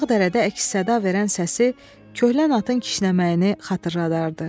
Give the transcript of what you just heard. Dağ-dərədə əks-səda verən səsi, köhlən atın kişnəməyini xatırladardı.